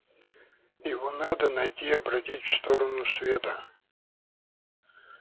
его надо найти и обратить в сторону света